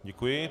Děkuji.